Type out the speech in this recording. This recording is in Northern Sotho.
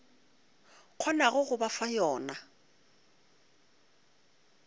kgonago go ba fa yona